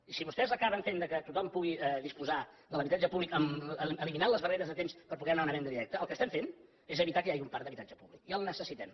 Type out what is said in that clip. i si vostès acaben fent que tothom pugui disposar de l’habitatge públic eliminant les barreres de temps per poder anar a una venda directa el que estem fent és evitar que hi hagi un parc d’habitatge públic i el necessitem